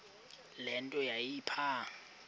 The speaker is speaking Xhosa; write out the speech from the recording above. le nto yayipha